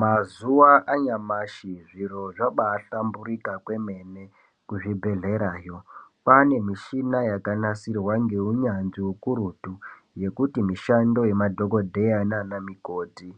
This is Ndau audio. Mazuwa anyamashi zviro zvabahlamburika kwemene kuzvibhedhlerayo kwane mishina yakanasirwa ngeunyanzvi ukurutu yekuti mishando yemadhokodheya nana mukoti